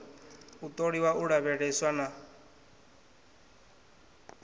u ṱoliwa u lavheleswa na